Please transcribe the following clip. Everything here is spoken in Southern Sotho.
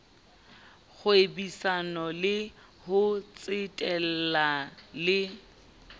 kgwebisano le ho tsetela le